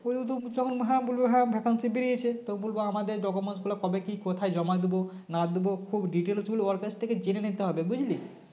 তখন হ্যাঁ বলবে হ্যাঁ Vacancy বেরিয়েছে তো বলবো আমাদের document গুলো কবে কি কোথায় জমা দিবো না দিবো খুব details গুলো ওর কাছ থেকে জেনে নিতে হবে বুঝলি